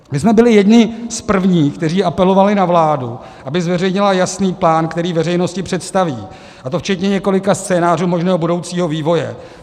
My jsme byli jedni z prvních, kteří apelovali na vládu, aby zveřejnila jasný plán, který veřejnosti představí, a to včetně několika scénářů možného budoucího vývoje.